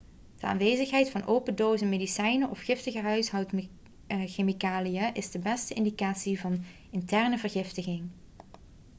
de aanwezigheid van open dozen medicijnen of giftige huishoudchemicaliën is de beste indicatie van interne vergiftiging